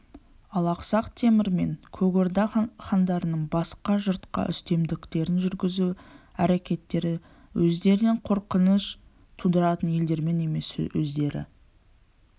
ал ақсақ темір мен көк орда хандарының басқа жұртқа үстемдіктерін жүргізу әрекеттері өздеріне қорқыныш тудыратын елдерден емес өздері